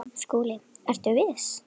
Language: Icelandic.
SKÚLI: Ertu viss?